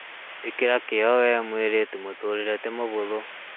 Ĩkĩra kĩyo wee mũirĩtu mũtũrĩre nĩ ti mũhũthũ